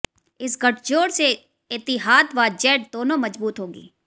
इस गठजोड़ से एतिहाद व जेट दोनों मजबूत होगी